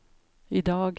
idag